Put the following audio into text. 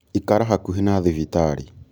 ikara hakuhĩ na thibitarĩ